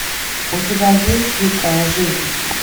у тебя есть дикая жизнь